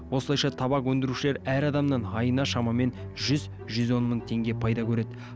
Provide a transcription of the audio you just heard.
осылайша табак өндірушілер әр адамнан айына шамамен жүз жүз он мың теңге пайда көреді